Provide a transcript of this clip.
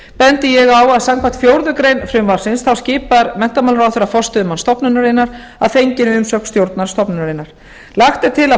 bendi ég á að samkvæmt fjórðu grein frumvarpsins skipar menntamálaráðherra forstöðumann stofnunarinnar að fenginni umsögn stjórnar stofnunarinnar lagt er til að